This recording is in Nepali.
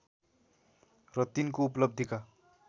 र तिनको उपलब्धिका